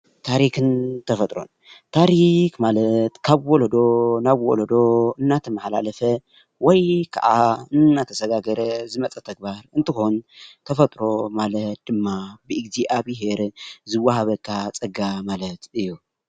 ታሪክን ተፈጥሮን ታሪክ ማለት ካብ ዎሎዶ ናብ ዎሎዶ እንዳተማሓላለፈ ወይ ከኣ እንዳተሳጋገረ ዝመፀ ተግባር እንትኮን ተፈጥሮ ማለት ድማ ብእግዚኣብሄር ዝወሃበካ ፀጋ ማለት እዩ።